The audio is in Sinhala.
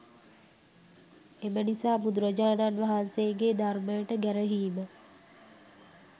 එම නිසා බුදුරජාණන් වහන්සේ ගේ ධර්මයට ගැරහීම